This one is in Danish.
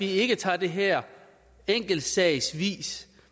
ikke tager det her enkeltsagsvis